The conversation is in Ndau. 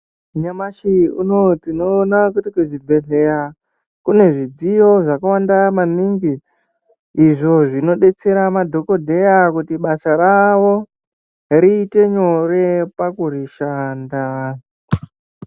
Nyamashi unouwu tinoona kuti kuzvibhehlera kune zvidziyo yakawanda maningi izvo zvinodetsera madhoteya kuti basa ravo rite nyore pakurishanda.